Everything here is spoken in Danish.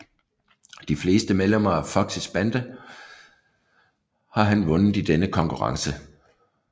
De fleste medlemmer af Foxys bande har han vundet i denne konkurrence